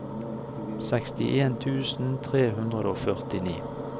sekstien tusen tre hundre og førtini